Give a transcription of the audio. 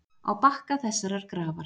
Á bakka þessarar grafar.